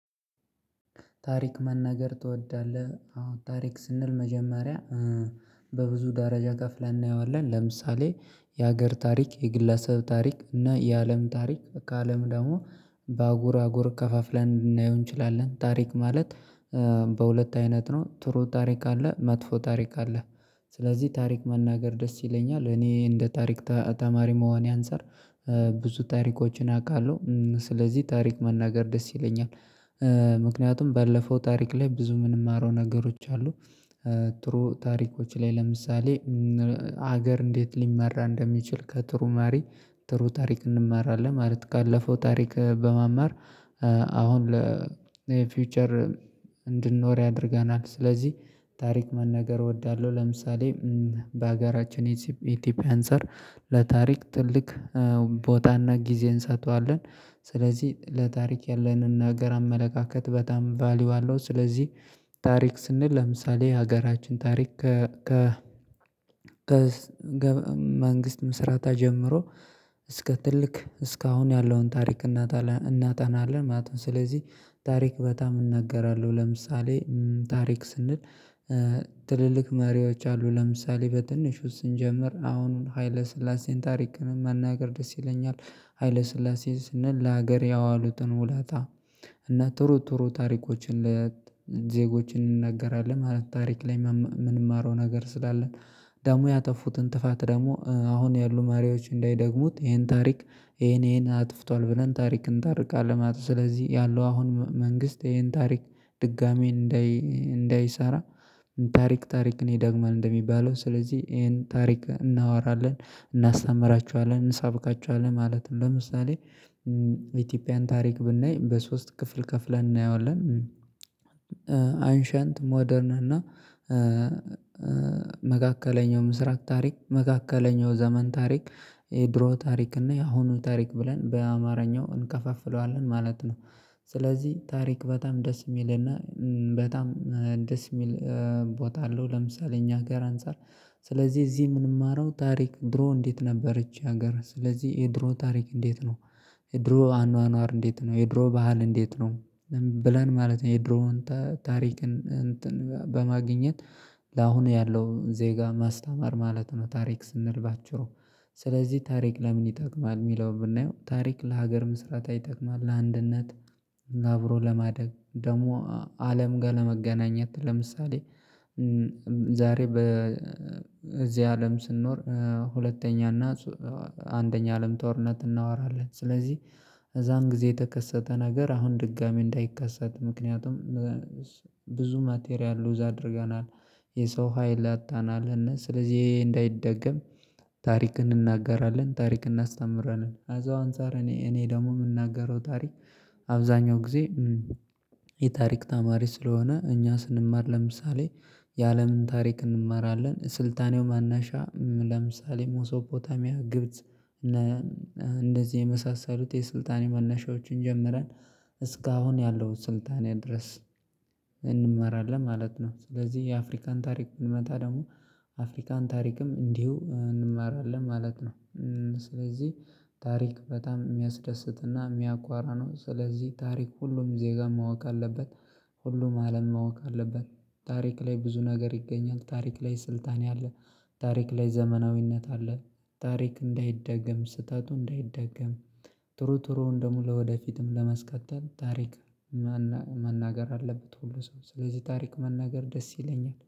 ታሪክ መናገር ትወዳለህ አሁን ታሪክ ስንል መጀመሪያ በብዙ ደረጃ ከፍለን እናየዋለን ለምሳሌ የሀገር ታሪክ የግለሰብ ታሪክ እና የአለም ታሪክ ከአለም ደግሞ በአጉር አጉር ከፋፍለን እንድናየው እንችላለን። ታሪክ ማለት በሁለት አይነት ነው ጥሩ ታሪክ አለ መጥፎ ታሪክ አለ። ስለዚህ ታሪክ መናገር ደስ ይለኛል እኔ እንደ ታሪክ ተማሪ መሆኔም አንፃር ብዙ ታሪኮችን አውቃለሁ ስለዚህ ታሪክ መናገር ደስ ይለኛል። ምክንያቱም ባለፈው ታሪክ ላይ ብዙ የምንማረው ነገሮች አሉ። ጥሩ ታሪኮች ላይ ለምሳሌ ሀገር እንዴት ሊመራ እንደሚችል ከጥሩ መሪ ጥሩ ታሪክ እንመራለን ማለት ካለፈው ታሪክ በመማር አሁን ለፊውቸር እንድንኖር ያደርገናል። ስለዚህ ታሪክ መናገር እወዳለሁ። ለምሳሌ በሀገራችን ኢትዮጵያ አንፃር ለታሪክ ትልቅ ቦታና ጊዜ እንሰጠዋለን። ስለዚህ ለታሪክ ያለንን ነገር አመለካከት በጣም ቫልዩ አለው። ስለዚህ ታሪክ ስንል ለምሳሌ ሀገራችን ታሪክ ከ መንግስት ምስረታ ጀምሮ እስከ ትልቅ እስከ አሁን ያለውን ታሪክ እናጣናለን እናጠናለን ማለት ነው። ስለዚህ ታሪክ በጣም እናገራለሁ ለምሳሌ ታሪክ ስንል ትልልቅ መሪዎች አሉ ለምሳሌ በትንሹ ስንጀምር አሁኑን ሀይለ ስላሴን ታሪክን መናገር ደስ ይለኛል። ሀይለ ስላሴ ስንል ለሀገር ያዋሉትን ውለታ እና ጥሮጥሮ ታሪኮችን ለዜጎችን እንነገራለን ማለት ታሪክ ላይ የምንማረው ነገር ስላለ። ደሞ ያጠፉትን ጥፋት ደግሞ አሁን ያሉ ተማሪዎች እንዳይደግሙት ይሄን ታሪክ ይሄን ይሄን አጥፍቷል ብለን ታሪክ እንታርካለን። ማለት ስለዚህ ያለው አሁን መንግስት ይሄን ታሪክ ድጋሚ እንዳይ እንዳይሰራ ታሪክ ታሪክ እኔ ዳግመን እንደሚባለው ስለዚህ ይሄን ታሪክ እናወራለን እናስተምራችኋለን እንሰብካችኋለን ማለት ነው። ለምሳሌ ኢትዮጵያን ታሪክ ብናይ በሶስት ክፍል ከፍለን እናየዋለን። አንሺየንት ሞደርን እና መካከለኛው ምስራቅ ታሪክ መካከለኛው ዘመን ታሪክ የድሮ ታሪክ እና የአሁኑ ታሪክ ብለን በአማርኛው እንከፋፍለዋለን ማለት ነው። ስለዚህ ታሪክ በጣም ደስ የሚልና በጣም ደስ የሚል ቦታ አለው። ለምሳሌ እኛ ሀገር አንፃር ስለዚህ እዚህ የምንማረው ታሪክ ድሮ እንዴት ነበረች ሀገር ስለዚህ የድሮ ታሪክ እንዴት ነው። የድሮ አኗኗር እንዴት ነው የድሮ ባህል እንዴት ነው። ብለን ማለት ነው የድሮውን ታሪክን በማግኘት ለአሁን ያለውን ዜጋ ማስተማር ማለት ነው። ታሪክ ስንል ስለዚህ ታሪክ ለምን ይጠቅማል? የሚለውን ብናየው ታሪክ ለሀገር መስራት አይጠቅምም ለአንድነት አብሮ ለማደግ ደግሞ አለም ጋር ለመገናኘት ለምሳሌ ዛሬ በዚህ አለም ስንኖር ሁለተኛ እና አንደኛ አለም ጦርነት እናወራለን ስለዚህ እዛን ጊዜ የተከሰተ ነገር አሁን ድጋሚ እንዳይከሰት ምክንያቱም ብዙ ማቴሪያል ሎዝ አድርገናል። የሰው ሀይል አጥተናል እና ስለዚህ ይሄ እንዳይደገም። ታሪክ እንናገራለን ታሪክ እናስተምራለን አዛው አንፃር እኔ እኔ ደግሞ የምናገረው ታሪክ። አብዛኛው ጊዜ። የታሪክ ተማሪ ስለሆንኩ እኛ ስንማር ለምሳሌ የአለምን ታሪክ እንመራለን ስልጣኔው መነሻ ለምሳሌ ሞሶፖታሚያ ግብጽ እንደዚህ የመሳሰሉት የስልጣን መነሻዎችን ጀምረን እስካሁን ያለው ስልጣን ያህል ድረስ እንማራለን ማለት ነው። ስለዚህ የአፍሪካን ታሪክ ብንመጣ ደግሞ አፍሪካን ታሪክም እንዲሁ እንማራለን ማለት ነው። ስለዚህ ታሪክ በጣም የሚያስደስትና የሚያኮራ ነው። ስለዚህ ታሪክ ሁሉም ዜጋም ማወቅ አለበት። ሁሉም አለም ማወቅ አለበት። ታሪክ ላይ ብዙ ነገር ይገኛል። ታሪክ ላይ ስልጣን አለ። ታሪክ ላይ ዘመናዊነት አለ። ታሪክ እንዳይደገም ስህተቱ እንዳይደገም ጥሩ ጥሩውን ደግሞ ለወደፊትም ለመስቀጠል ታሪክ መናገር አለበት። ሁሉ ሰው ስለዚህ ታሪክ መናገር ደስ ይለኛል